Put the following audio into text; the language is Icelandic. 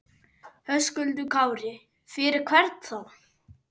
Höskuldur Kári: Fyrir hvern þá?